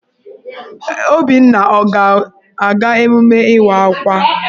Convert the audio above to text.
Obinna ọ ga-aga emume Ịwa Akwa?